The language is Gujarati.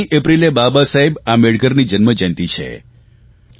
14 એપ્રિલે બાબા સાહેબ આંબેડકરની જન્મજયંતિ છે